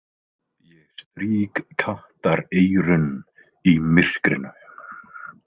Ég strýk kattareyrun í myrkrinu.